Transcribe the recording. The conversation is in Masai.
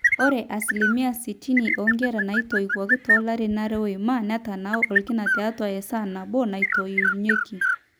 ore asilimia sitini oonkera naatoiwuoki toolarin aare oima netanaa orkina tiatua esaa nabo natoiunyieki